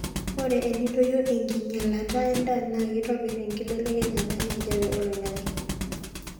ore enedoyio enkinyalata endaa naa keitobir enkibelekenyata enkijape oloingangi